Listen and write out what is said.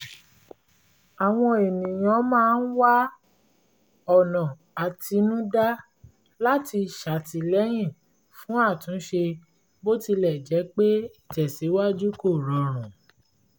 àwọn ènìyàn máa ń wá ọ̀nà àtinúdá láti ṣàtìlẹ́yìn fún àtúnṣe bó tilẹ̀ jẹ́ pé ìtẹ̀síwájú kò rọrùn